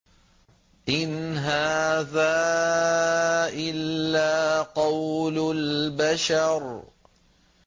إِنْ هَٰذَا إِلَّا قَوْلُ الْبَشَرِ